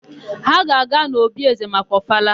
Ha a ga-aga n'òbí ézē maka ọfala?